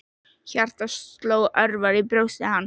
Hjartað sló örar í brjósti hans.